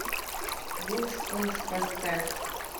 вуншпунш поставь